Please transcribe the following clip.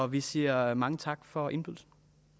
vi siger mange tak for indbydelsen